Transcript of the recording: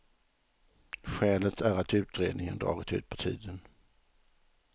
Skälet är att utredningen dragit ut på tiden.